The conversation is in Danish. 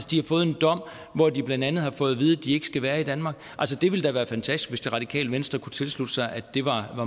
de har fået en dom hvor de blandt andet har fået at vide at de ikke skal være i danmark det ville da være fantastisk hvis det radikale venstre kunne tilslutte sig at det var